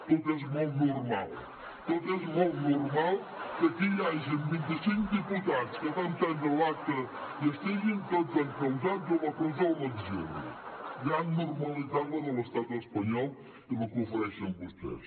tot és molt normal hagi vint i cinc diputats que van prendre l’acta i estiguin tots encausats o a la presó o a l’exili gran normalitat la de l’estat espanyol i la que ofereixen vostès